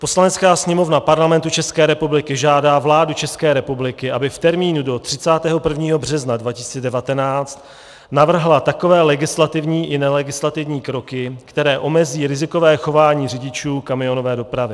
Poslanecká sněmovna Parlamentu České republiky žádá vládu České republiky, aby v termínu do 31. března 2019 navrhla takové legislativní i nelegislativní kroky, které omezí rizikové chování řidičů kamionové dopravy.